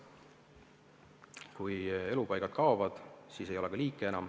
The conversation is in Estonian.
Kui elupaigad kaovad, siis ei ole enam ka liike.